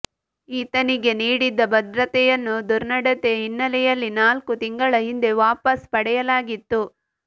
ಈತನಿಗೆ ನೀಡಿದ್ದ ಭದ್ರತೆಯನ್ನು ದುರ್ನಡತೆ ಹಿನ್ನೆಲೆಯಲ್ಲಿ ನಾಲ್ಕು ತಿಂಗಳ ಹಿಂದೆ ವಾಪಸ್ ಪಡೆಯಲಾಗಿತ್ತು